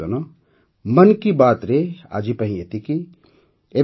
ମୋର ପରିବାରଜନ ମନ୍ କି ବାତ୍ରେ ଆଜିପାଇଁ ଏତିକି